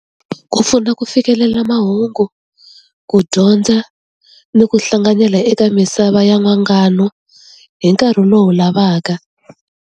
Ku pfuna ku fikelela mahungu ku dyondza ni ku hlanganela eka misava ya n'wangano hi nkarhi lowu lavaka.